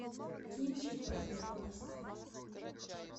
кинчик богема поставь